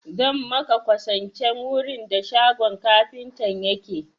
Zan maka kwasancen wurin da shagon kafintan yake.